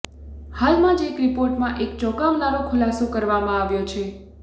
હાલમાં જ એક રિપોર્ટમાં એક ચોંકાવનારો ખુલાસો કરવામાં આવ્યો છે